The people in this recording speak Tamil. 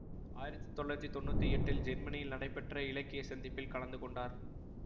ஆயிரத்தி தொள்ளாயிரத்தி தொன்னூத்தி எட்டில் ஜேர்மனில் நடைபெற்ற இலக்கிய சந்திப்பில் கலந்து கொண்டார்